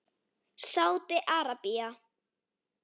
Sádi Arabía